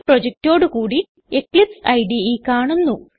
ഒരു പ്രൊജക്റ്റോടുകൂടി എക്ലിപ്സൈഡ് കാണുന്നു